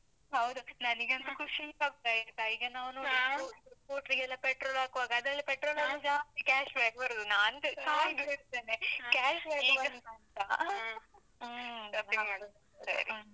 ಹೌದು, ನನಿಗಂತು ಖುಷಿ ಆಗ್ತದೆ ಆಯ್ತಾ. scooter ಗೆಲ್ಲ petrol ಹಾಕುವಾಗ, ಅದ್ರಲ್ಲಿ petrol ಲಲ್ಲಿ ಜಾಸ್ತಿ cashback ಬರುದು.